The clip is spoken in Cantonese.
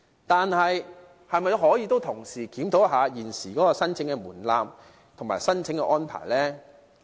但是，是否可以同時檢討現時的申請門檻及申請安排呢？